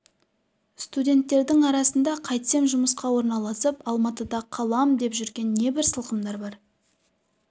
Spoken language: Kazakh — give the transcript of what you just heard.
студенттердің арасында қайтсем жұмысқа орналасып алматыда қалам деп жүрген небір сылқымдар бар